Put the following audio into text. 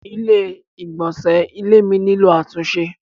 Ilé ìgbọ̀nsẹ́ ilé mi nílò àtúnṣe.